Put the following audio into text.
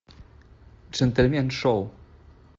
джентльмен шоу